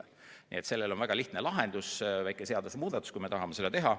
Nii et sellele probleemile on väga lihtne lahendus – teha väike seadusemuudatus, juhul kui me tahame seda teha.